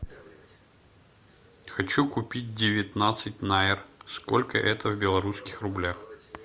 хочу купить девятнадцать найр сколько это в белорусских рублях